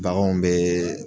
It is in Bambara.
Baganw bɛ